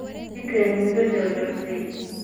ii keen midho jar jartey